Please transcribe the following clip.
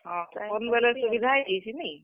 ହଁ, phone ବେଲେ ସୁବିଧା ହେଇ ଯେଇଛେ ନେଇ?